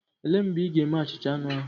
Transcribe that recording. Olee mgbe ị ga-eme achicha anu ahu?